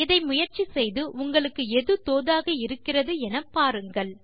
இதை முயற்சி செய்து உங்களுக்கு எது தோதாக இருக்கிறது என பாருங்கள்